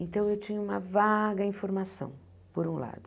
Então, eu tinha uma vaga informação, por um lado.